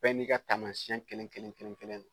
Bɛɛ n'i ka taamasiyɛn kelen-kelen- kelen- kelen don